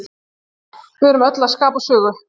Við erum öll að skapa sögu.